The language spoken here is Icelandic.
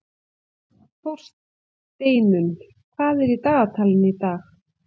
Þórsteinunn, hvað er í dagatalinu í dag?